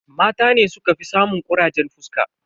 Mata ne sukafi samun kurajen fuska.